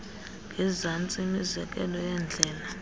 ngezantsi imizekelo yeendlela